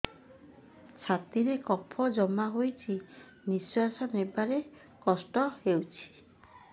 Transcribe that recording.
ଛାତିରେ କଫ ଜମା ହୋଇଛି ନିଶ୍ୱାସ ନେବାରେ କଷ୍ଟ ହେଉଛି